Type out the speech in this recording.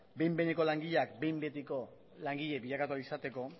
behin behineko langileak behin betiko langile bilakatu ahala izateko